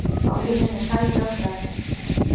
Á línunni er Kalli lögfræðingur.